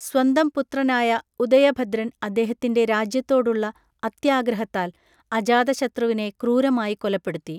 സ്വന്തം പുത്രനായ ഉദയഭദ്രൻ അദ്ദേഹത്തിൻറെ രാജ്യത്തോടുള്ള അത്യാഗ്രഹത്താൽ അജാതശത്രുവിനെ ക്രൂരമായി കൊലപ്പെടുത്തി.